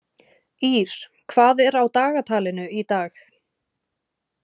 Ýrr, hvað er á dagatalinu í dag?